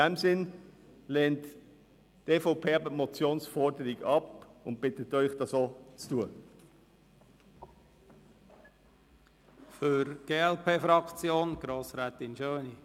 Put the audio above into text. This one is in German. Deshalb lehnt die EVP die Motionsforderung ab und bittet Sie, dasselbe zu tun.